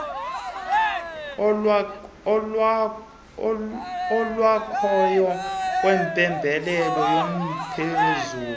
olwakhayo ngempembelelo yomphezulu